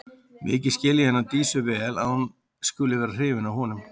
Mikið skil ég hana Dísu vel að hún skuli vera hrifin af honum.